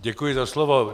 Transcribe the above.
Děkuji za slovo.